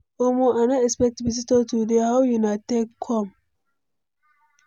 Omo, I no expect visitor today, how una take come?